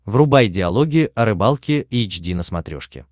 врубай диалоги о рыбалке эйч ди на смотрешке